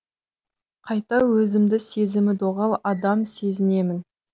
қайта өзімді сезімі доғал адам сезінемін